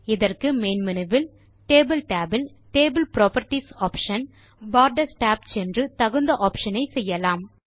இதற்கு main menu வில் table tab இல் table properties option borders tab சென்று தகுந்த ஆப்ஷன் ஐ செய்யலாம்